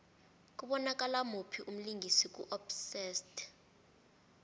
kubonakala muphi umlingisi ku obsessed